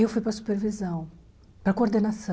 Eu fui para supervisão, para coordenação.